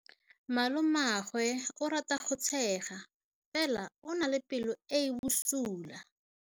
Malomagwe o rata go tshega fela o na le pelo e e bosula.